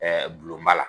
gulonba la